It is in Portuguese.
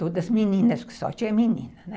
Todas meninas, porque só tinha menina, né?